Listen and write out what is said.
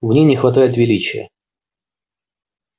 в ней не хватает величия